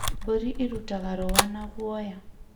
Mbũri irutaga rũũa na guoya.